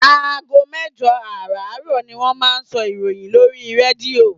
Aago mẹ́jọ àràárọ̀ ni wọ́n máa ń sọ ìròyìn lórí rédíò.